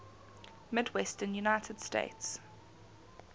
midwestern united states